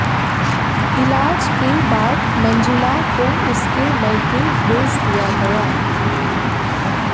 इलाज के बाद मंजुला को उसके मइके भेज दिया गया